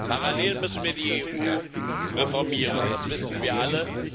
Parallel dazu müssen wir die EU reformieren das wissen wir alle.